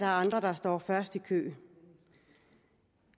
andre der står først i køen